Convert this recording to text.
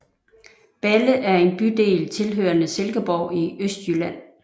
Balle er en bydel tilhørende Silkeborg i Østjylland